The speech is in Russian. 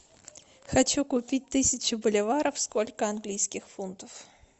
хочу купить тысячу боливаров сколько английских фунтов